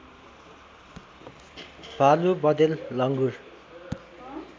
भालु बँदेल लङ्गुर